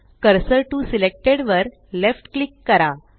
cursor to selected वर left click करा